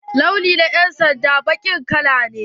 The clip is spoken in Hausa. Launi na yan'sanda baƙin kala ne.